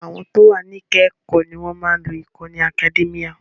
Àwọn tí o wà ní ẹka ẹ̀kọ́ ní wọ́n má a ń lo ìkànnì Academia.